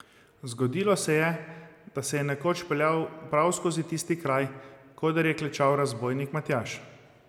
Zgodilo se je, da se je nekoč peljal prav skozi tisti kraj, koder je klečal razbojnik Matjaž.